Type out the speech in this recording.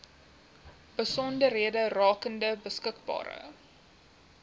besonderhede rakende beskikbare